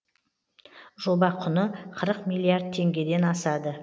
жоба құны қырық миллиард теңгеден асады